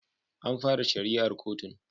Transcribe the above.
An fara shari'ar kotun